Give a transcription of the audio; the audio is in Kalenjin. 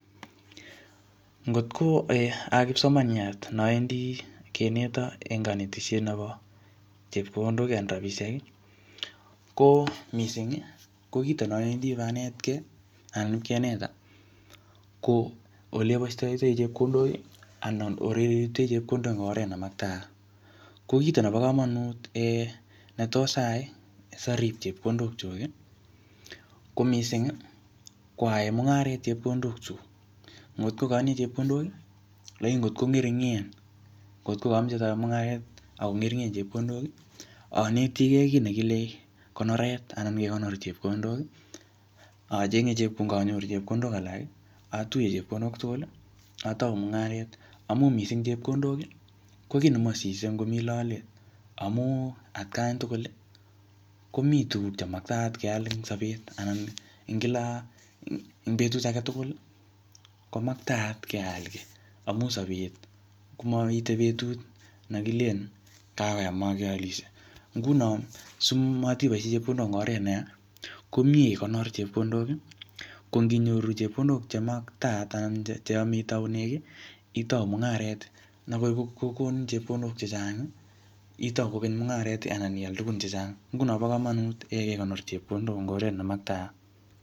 Ngotko ee a kipsomaniat nowendi kineton en konetishet nepo chepkondok anan rapisheki ko misingi kito nowendi ipanetke anan pakinetan ko ole bostoitoi chepkondoki anan oretei chepkondok en oret nemaktayat kokito nepokomonut netos ayai sorib chepkondokyuk ko misingi ko ayaen mungaret chepkondokyuk ngotko atinye chepkondoki lagini ngotko ng'eringen ngotko komoche sayaen mungaret Ako ng'eringen chepkondoki onetige kit nekile konoret anan mi kekonor chepkondoki kondonyoru chepkondok alaki atuye chepkondok tuguli otou mungaret amun mising chepkondoki kokit nemosise ngomi lolet amun atkan tuguli komi tuguk chemakat keal en sopet anan en kila en betut agetugul komaktayat keal kii amun sopet komoite betut nekilen kakoyam mokeolishe ngunon simotipoishen chepkondok en oret neyaa komie ikonor chepkondok konginyoru chepkondok chemaktayat anan cheyome itounen kii itou mungaret nekorkokonin chepkondok chechangi itou kokeny mungareti ana ial tugun chechang ngunon bo komonut kekonor chepkondok en oret nemaktayat